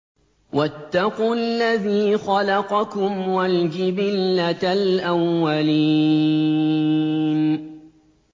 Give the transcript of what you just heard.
وَاتَّقُوا الَّذِي خَلَقَكُمْ وَالْجِبِلَّةَ الْأَوَّلِينَ